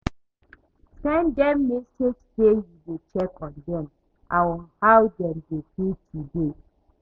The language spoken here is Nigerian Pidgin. Send dem message sey yu dey check on dem and how dem dey feel today